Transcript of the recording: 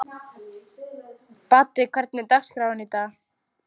Baddi, hvernig er dagskráin í dag?